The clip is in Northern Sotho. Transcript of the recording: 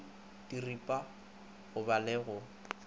diripwa go ba la go